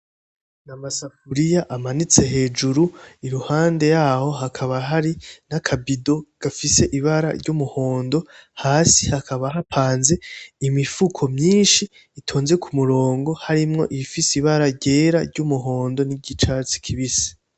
Amasafuriya amanitse hejuru iruhande yaho hakaba hari naka bido gafise ibara ry’umuhondo hasi hakaba hapanze imifuko myinshi itonze k’umurongo harimwo iyifise ibara ryera, ryumuhondo n'irifise iryicatsi kibisi.